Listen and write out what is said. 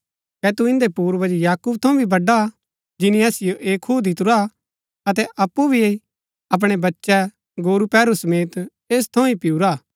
कै तू इन्दै पूर्वज याकूब थऊँ भी बड़ा हा जिनी असिओ ऐह खूआ दितुरा अतै अप्पु भी अपणै बच्चै गोरूपैहरू समेत ऐस थऊँ ही पिऊरा हा